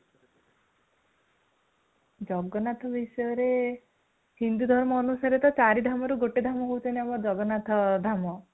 ଜଗନ୍ନାଥଙ୍କ ବିଷୟରେ ହିନ୍ଦୁ ଧର୍ମ ଅନୁସାରେ ତ ଚାରିଧାମରୁ ଗୋଟେ ଧାମ ହେଉଛନ୍ତି ଆମ ଜଗନ୍ନାଥ ଧାମ |